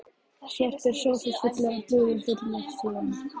Svartur sófi fullur af púðum fyllir sjón